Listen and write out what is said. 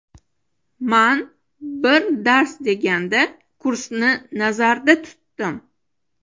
Man bir dars deganda, kursni nazarda tutdim.